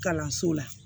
Kalanso la